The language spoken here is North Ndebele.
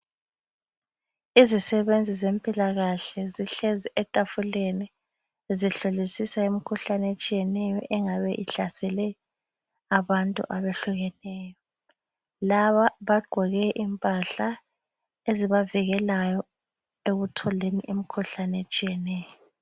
izisebenzi zempilakahle zihlezi etafuleni zihlolisisa imikhuhlane ehlukeneyo engabe ihlasele abantu abahlukaneyo laba bagqoke impahla ezibavikelayo emikhuhlane etshiyeneyo